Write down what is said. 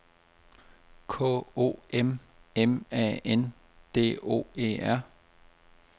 K O M M A N D O E R